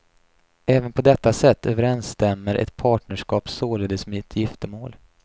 Även på detta sätt överenstämmer ett partnerskap således med ett giftermål.